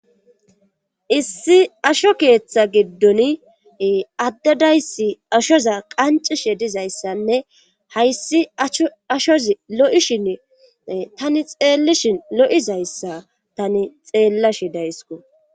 Issi asho keeththa giddon addedayssi ashoza qancishe dizayssanne hayssi cshoashoz lo7ishin tani xeellishin lo7izayssa tani xeellashi daysko